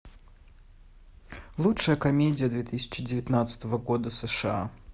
лучшая комедия две тысячи девятнадцатого года сша